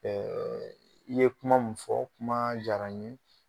Ɛɛ i ye kuma min fɔ kuma diyara n ye.